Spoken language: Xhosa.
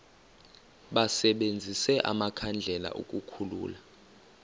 basebenzise amakhandlela ukukhulula